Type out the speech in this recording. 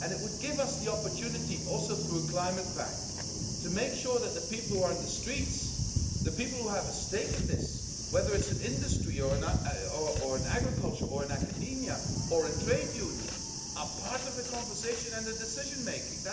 It would give us the opportunity, also through a climate pact, to make sure that the people who are on the streets, the people who have a stake in this whether it's in industry or in agriculture or in academia or in trade unions are part of the conversation and the decision-making.